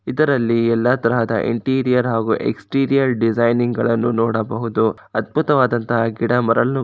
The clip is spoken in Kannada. ಇದರಲ್ಲಿ ಎಲ್ಲಾ ತರಹದ ಇಂಟೀರಿಯರ್ ಹಾಗೂ ಎಸ್ಟಿರಿಯರ್ ಡಿಸೈನ್ ಗಳನ್ನು ನೋಡಬಹುದು ಅದ್ಭುತವಾದಂತಹ ಗಿಡಮರಗಳು